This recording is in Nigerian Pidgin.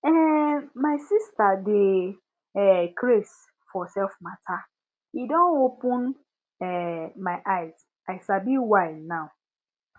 um my sista dey um craze for selfcare matter e don open um my eye i sabi why now